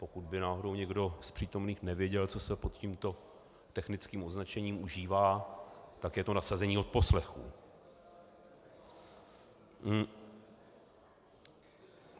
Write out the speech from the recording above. Pokud by náhodou někdo z přítomných nevěděl, co se pod tímto technickým označením užívá, tak je to nasazení odposlechů.